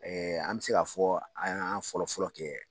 an mɛ se ka fɔ an y'a fɔlɔ fɔlɔ kɛ